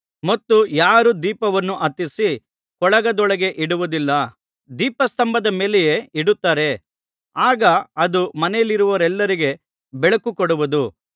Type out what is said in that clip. ಮತ್ತು ಯಾರೂ ದೀಪವನ್ನು ಹತ್ತಿಸಿ ಕೊಳಗದೊಳಗೆ ಇಡುವುದಿಲ್ಲ ದೀಪಸ್ತಂಭದ ಮೇಲೆಯೇ ಇಡುತ್ತಾರೆ ಆಗ ಅದು ಮನೆಯಲ್ಲಿರುವವರೆಲ್ಲರಿಗೆ ಬೆಳಕು ಕೊಡುವುದು